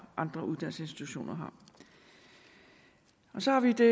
andre uddannelsesinstitutioner har så har vi det